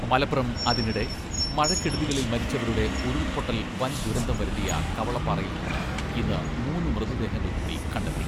മലപ്പുറം അതിനിടെ, മഴക്കെടുതികളിൽ മരിച്ചവരുടെ ഉരുൾപ്പൊട്ടൽ വൻ ദുരന്തം വരുത്തിയ കവളപ്പാറയിൽ നിന്ന് ഇന്ന് മൂന്ന് മൃതദേഹങ്ങൾ കൂടി കണ്ടെത്തി.